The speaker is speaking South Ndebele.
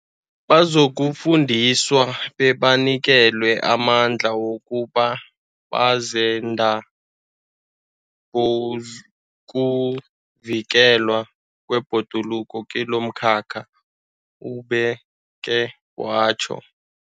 Bazokufundiswa bebanikelwe amandla wokuba bazenda bokuvikelwa kwebhoduluko kilomkhakha, ubeke watjho.